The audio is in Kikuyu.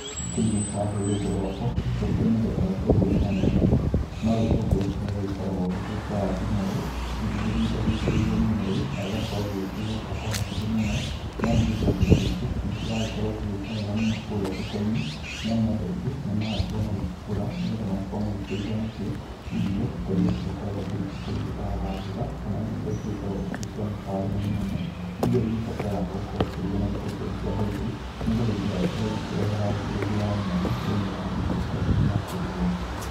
Thĩinĩ wa rũrĩrĩ rwakwa gũkĩrĩ mĩthemba ya itũngũrũ mwanya mwanya, no gĩtũngũrũ kĩria gĩgĩkoragwo gĩkĩrĩ kĩa rangi mwerũ. Nĩ gĩgĩthiĩte gĩkĩrĩirwo mũno na gĩgakorwo gĩgĩkĩgĩa bata mũingĩ mũno, nĩ amu gĩtũngũrũ gĩkĩ nĩ kĩragĩkorwo gĩgĩka wega mũno kũrĩa thoko-inĩ. Nĩ amu andũ aingĩ nĩ marakorwo magĩkĩgũra nĩ getha magĩkorwo magĩkĩruga nakĩo irio ta iria cigĩkoragwo hihi ikĩri indo ta thabutha. Kana irio iria igĩkoragwo cia mĩkawa ĩno mĩnene iria igĩbataraga gũkorwo cikĩrugwo na gĩtũngũrũ kĩa hoiti, nĩ getha itigagĩkorwo ikĩrehe rangi ũngĩ wa mwanya thĩinĩ wa irio ta iria irarugwo.